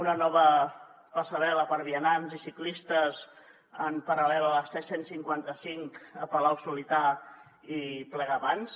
una nova passarel·la per a vianants i ciclistes en paral·lel a la c cent i cinquanta cinc a palau solità i plegamans